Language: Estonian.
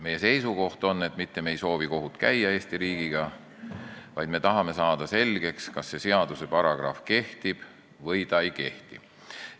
Meie seisukoht on, et me ei soovi käia Eesti riigiga kohut, vaid me tahame saada selgeks, kas see seaduse paragrahv kehtib või ei kehti.